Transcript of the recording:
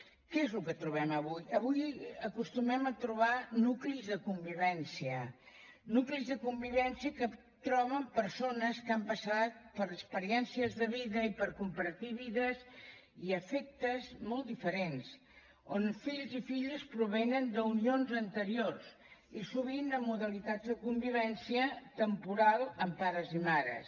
què és el que trobem avui avui acostumem a trobar nuclis de convivència nuclis de convivència que troben persones que han passat per experiències de vida i per compartir vides i afectes molt diferents on fills i filles provenen d’unions anteriors i sovint amb modalitats de convivència temporal amb pares i mares